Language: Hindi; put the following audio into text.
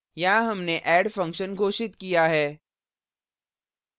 यहाँ हमने add function घोषित किया है